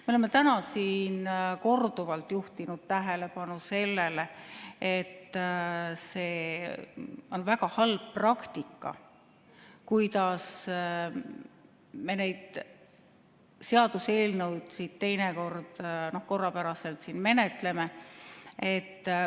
Me oleme täna siin korduvalt juhtinud tähelepanu sellele, et on väga halb praktika, kuidas me neid seaduseelnõusid siin menetleme.